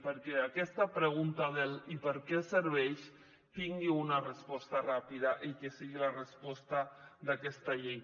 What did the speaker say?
perquè aquesta pregunta del i per què serveix tingui una resposta ràpida i que sigui la resposta d’aquesta llei